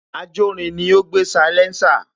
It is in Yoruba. Ajórin ni ó gbé salésà